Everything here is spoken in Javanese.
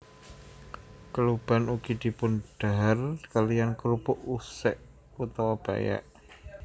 Kluban ugi dipundhahar kaliyan krupuk usek utawa pèyèk